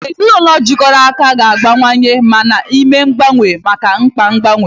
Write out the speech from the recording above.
Ezinụlọ jikọrọ aka ga-agbanwewanye ma na-eme mgbanwe maka mkpa mgbanwe.